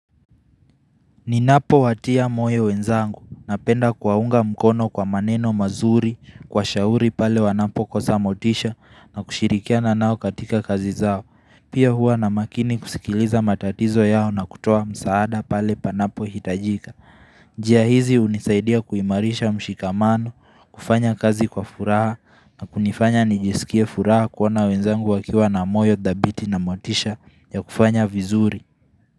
Ninapo watia moyo wenzangu na penda kuwaunga mkono kwa maneno mazuri kwa shauri pale wanapo kosa motisha na kushirikia na nao katika kazi zao. Pia huwa na makini kusikiliza matatizo yao na kutoa msaada pale panapo hitajika. Jia hizi unisaidia kuimarisha mshikamano, kufanya kazi kwa furaha na kunifanya nijisikie furaha kuona wenzangu wakiwa na moyo dhabiti na motisha ya kufanya vizuri.